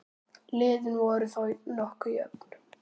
Liðin voru þá nokkuð jöfn.